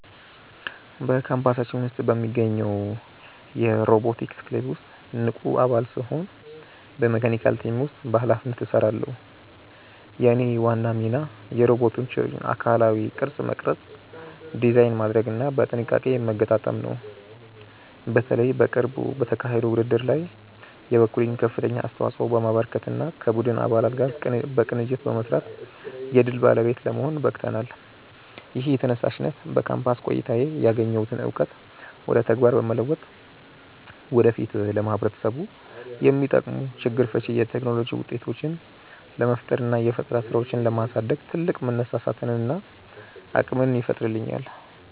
በካምፓሳችን ውስጥ በሚገኘው የሮቦቲክስ ክለብ ውስጥ ንቁ አባል ስሆን በመካኒካል ቲም ውስጥ በኃላፊነት እሰራለሁ። የእኔ ዋና ሚና የሮቦቶቹን አካላዊ ቅርጽ መቅረጽ፣ ዲዛይን ማድረግና በጥንቃቄ መገጣጠም ነው። በተለይ በቅርቡ በተካሄደው ውድድር ላይ የበኩሌን ከፍተኛ አስተዋጽኦ በማበርከትና ከቡድን አባላት ጋር በቅንጅት በመስራት የድል ባለቤት ለመሆን በቅተናል። ይህ ተነሳሽነት በካምፓስ ቆይታዬ ያገኘሁትን እውቀት ወደ ተግባር በመለወጥ ወደፊት ለማህበረሰቡ የሚጠቅሙ ችግር ፈቺ የቴክኖሎጂ ውጤቶችን ለመፍጠርና የፈጠራ ስራዎችን ለማሳደግ ትልቅ መነሳሳትንና አቅምን ይፈጥርልኛል።